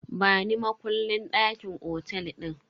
Bani makullin dakin otel din.